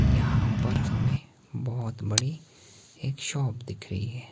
यहां पर हमें बहोत बड़ी एक शॉप दिख रही है।